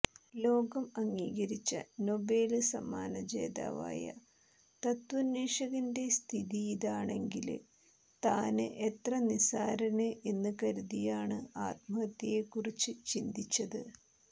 ലോകം അംഗീകരിച്ച നൊബേല് സമ്മാനജേതാവായ തത്വാന്വേഷകന്റെ സ്ഥിതിയിതാണെങ്കില് താന് എത്ര നിസ്സാരന് എന്നുകരുതിയാണ് ആത്മഹത്യയെക്കുറിച്ച് ചിന്തിച്ചത്